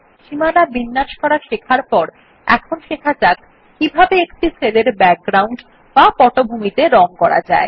সীমানা বিন্যাস করা শেখার পর এখন শেখা যাক কিভাবে একটি সেল এর ব্যাকগ্রাউন্ড বা পটভূমিতে রং করা যায়